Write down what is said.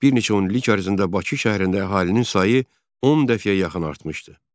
Bir neçə onillik ərzində Bakı şəhərində əhalinin sayı 10 dəfəyə yaxın artmışdı.